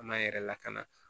An m'an yɛrɛ lakana